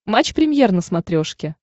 матч премьер на смотрешке